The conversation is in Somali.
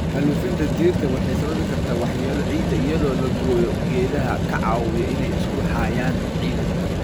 Xaalufinta dhirta waxay sababi kartaa waxyeello ciidda iyadoo la gooyo geedaha ka caawiya inay isku hayaan ciidda.